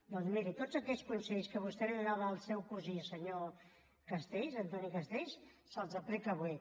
doncs miri tots aquells consells que vostè li donava al seu cosí senyor castells antoni castells se’ls aplica avui